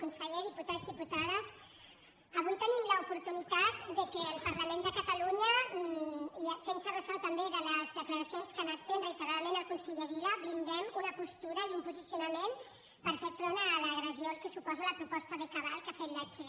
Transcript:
conseller diputats diputades avui tenim l’oportunitat que el parlament de catalunya fent se ressò també de les declaracions que ha anat fent reiteradament el conseller vila blindem una postura i un posicionament per fer front a l’agressió que suposa la proposta de cabal que ha fet la che